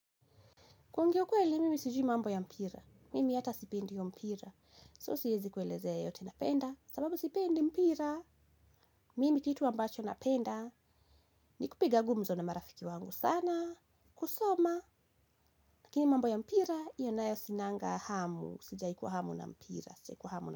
Kwongea ukwele, mimi sijiu mambo ya mpira. Mimi ata sipendi iyo mpira. So siezi kuelezea yeyote. Napenda, sababu sipendi mpira. Mimi kitu ambacho napenda, ni kupiga gumzo na marafiki wangu sana, kusoma. Lakini mambo ya mpira io nayo sinanga hamu, sijahi kua hamu na mpira, sijahi kuwa hamu.